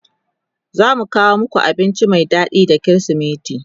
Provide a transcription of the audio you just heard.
zamu kawo maku abinci Mai daɗi da krismeti